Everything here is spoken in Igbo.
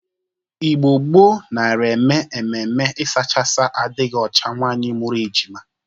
Igbo gboo nara eme ememe ịsachasa adịghị ọcha nwaanyị mụrụ ejima.